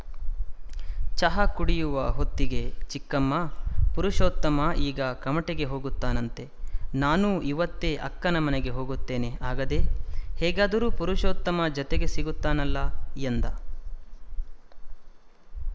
ಚಹ ಕುಡಿಯುವ ಹೊತ್ತಿಗೆ ಚಿಕ್ಕಮ್ಮಾ ಪುರುಷೊೀತ್ತಮ ಈಗ ಕಮಟೆಗೆ ಹೋಗುತ್ತಾನಂತೆ ನಾನೂ ಈವತ್ತೇ ಅಕ್ಕನ ಮನೆಗೆ ಹೋಗುತ್ತೇನೆ ಆಗದೆ ಹೇಗಾದರೂ ಪುರುಷೊೀತ್ತಮ ಜತೆಗೆ ಸಿಗುತ್ತಾನಲ್ಲ ಎಂದ